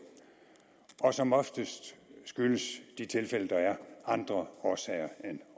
og som oftest skyldes de tilfælde der er andre årsager end